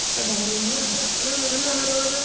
তোৰ দাদা লেখিয়া দেখি